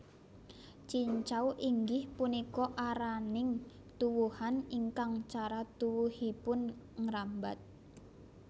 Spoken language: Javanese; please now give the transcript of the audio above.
Cincau inggih punika araning tuwuhan ingkang cara tuwuhipun ngrambat